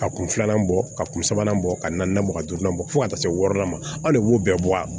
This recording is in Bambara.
Ka kun filanan bɔ ka kun sabanan bɔ ka na bɔ ka duurunan bɔ fo ka taa se wɔɔrɔnan ma anw de b'o bɛɛ bɔ a la